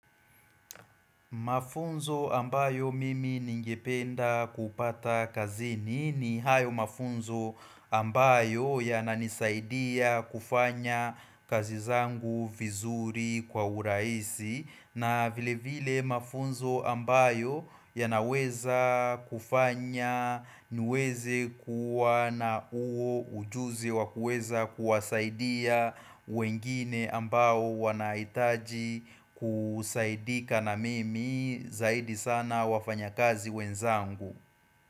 Mafunzo ambayo mimi ningependa kupata kazini ni hayo mafunzo ambayo yananisaidia kufanya kazi zangu vizuri kwa urahisi na vile vile mafunzo ambayo yanaweza kufanya niweze kuwa na huo ujuzi wa kuweza kuwasaidia wengine ambao wanahitaji kusaidika na mimi zaidi sana wafanyakazi wenzangu.